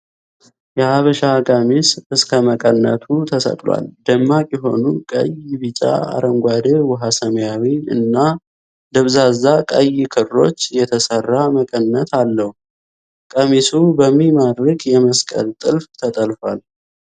የሐበሻ ቀሚስ እስከ መቀነቱ ተሰቅሏል። ደማቅ የሆኑ ቀይ፣ ቢጫ፣ አረንጓዴ፣ ዉኃ ሰማያዊ እና ደብዛዛ ቀይ ክሮች የተሰራ መቀነት አለዉ። ቀሚሱ በሚማረክ የመስቀል ጥልፍ ተጠልፏል።